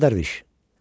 Ağa Dərviş.